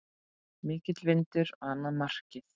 Mikill vindur á annað markið.